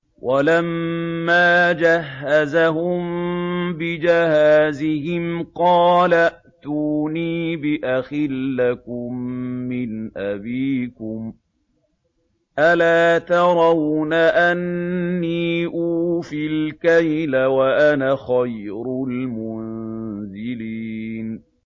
وَلَمَّا جَهَّزَهُم بِجَهَازِهِمْ قَالَ ائْتُونِي بِأَخٍ لَّكُم مِّنْ أَبِيكُمْ ۚ أَلَا تَرَوْنَ أَنِّي أُوفِي الْكَيْلَ وَأَنَا خَيْرُ الْمُنزِلِينَ